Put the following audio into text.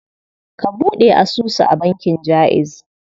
Ka buɗe asusu a bankin Jaiz.